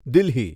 Delhi